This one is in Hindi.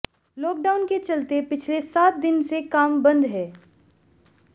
लॉकडाउन के चलते पिछले सात दिन से काम बंद है